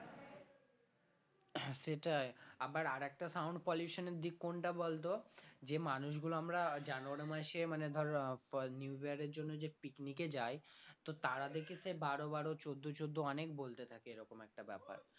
হ্যাঁ সেটাই আবার আরেকটা sound pollution এর দিক কোনটা বলতো যে মানুষগুলো আমরা january মাসে মানে ধর আহ new year এর জন্য যে picnic এ যাই তো তারা দেখি সে বারো বারো চোদ্দ চোদ্দ অনেক বলতে থাকে এরকম একটা ব্যাপার